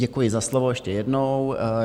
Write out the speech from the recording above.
Děkuji za slovo ještě jednou.